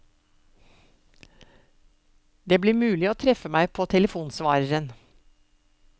Det blir mulig å treffe meg på telefonsvareren.